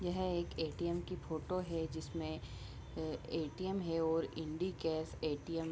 यह एक ए.टी.एम. की फोटो है जिसमें अ ए.टी.एम. है और इंडी कॅश ए.टी.एम. --